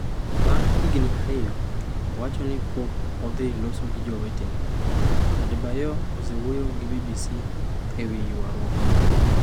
Bang’ higni ariyo, owacho ni pod ok odhi loso gi jowetene. Adebayor osewuoyo gi BBC ewi ywarruok ni.